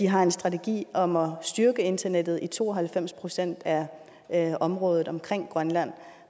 har en strategi om at styrke internettet i to og halvfems procent af området omkring grønland